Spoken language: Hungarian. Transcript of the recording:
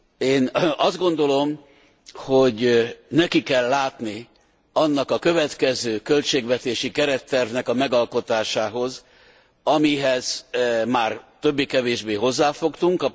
Én azt gondolom, hogy neki kell látni annak a következő költségvetési kerettervnek a megalkotásához, amihez már többé kevésbé hozzáfogtunk.